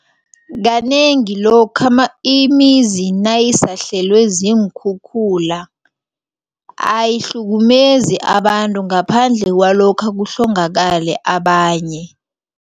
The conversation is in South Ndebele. Kanengi lokha imizi nayisahlelwe ziinkhukhula ayihlukumezi abantu ngaphandle kwalokha kuhlongakale abanye.